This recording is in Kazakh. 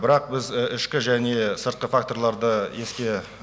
бірақ біз ішкі және сыртқы факторларды еске